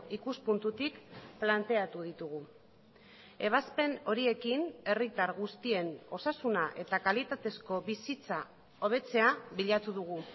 ikuspuntutik planteatu ditugu ebazpen horiekin herritar guztien osasuna eta kalitatezko bizitza hobetzea bilatu dugu